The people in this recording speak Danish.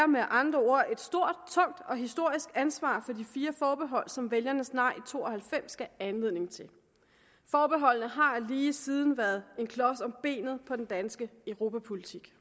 med andre ord et stort tungt og historisk ansvar for de fire forbehold som vælgernes nej i to og halvfems gav anledning til forbeholdene har lige siden været en klods om benet for den danske europapolitik